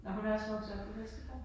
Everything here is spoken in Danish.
Nåh hun er også vokset op på Vesterbro?